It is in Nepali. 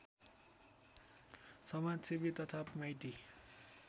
समाजसेवी तथा माइती